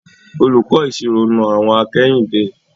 Olùkọ́ ìṣirò na àwọ̀n akẹ́yìndé.